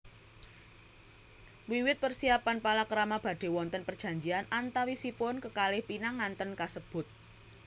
Wiwit persiapan palakrama badhe wonten perjanjian antawisipun kekalih pinanganten kasebut